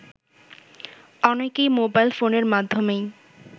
অনেকেই মোবাইল ফোনের মাধ্যমেই